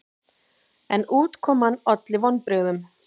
En útkoman olli vonbrigðum.